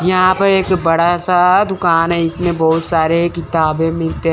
यहां पर एक बड़ा सा दुकान है इसमें बहुत सारे किताबें मिलते--